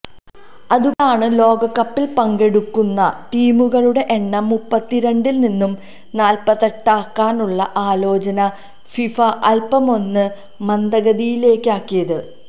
അതുകൊണ്ടാണ് ലോകകപ്പിൽ പങ്കെടുക്കുന്ന ടീമുകളുടെ എണ്ണം മുപ്പത്തിരണ്ടിൽ നിന്ന് നാൽപത്തെട്ടാക്കാനുള്ള ആലോചന ഫിഫ അൽപമൊന്ന് മന്ദഗതിയിലാക്കിയത്